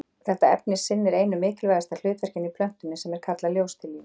Þetta efni sinnir einu mikilvægasta hlutverkinu í plöntunni sem er kallað ljóstillífun.